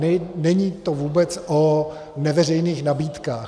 Není to vůbec o neveřejných nabídkách.